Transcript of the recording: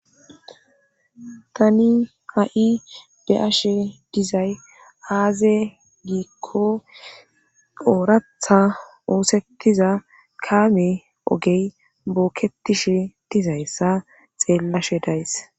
tani ha'i be'ashe dizay aaze giikko ooratha oosetiza kaame ogey bookketishe dizayssa xeellashe days